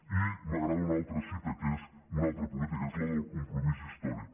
i m’agrada una altra cita que és una altra política és la del compromís històric